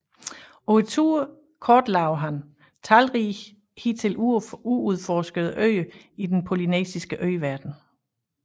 På turen kortlagde han talrige hidtil uudforskede øer i den polynesiske øverden